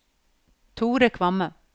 Thore Kvamme